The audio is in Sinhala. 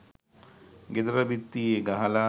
ගෙදර බිත්තියේ ගහලා